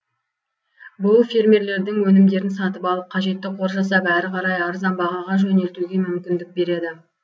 бұл фермерлердің өнімдерін сатып алып қажетті қор жасап әрі қарай арзан бағаға жөнелтуге мүмкіндік береді